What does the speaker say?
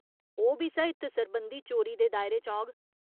ओह् बी साहित्य सरबंधी चोरी दे दायरे च औग।